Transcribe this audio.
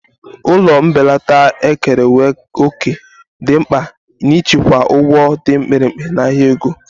Ụlọ mbelata ekerewo òkè dị mkpa n'ịchịkwa ụgwọ dị mkpirikpi n'ahịa ego.